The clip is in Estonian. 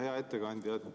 Hea ettekandja!